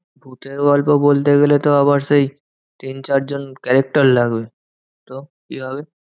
ভুতের গল্প বলতে গেলে আবার সেই তিন চার জন character লাগবে, তো কি হবে?